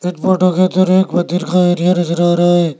नजर आ रहा है।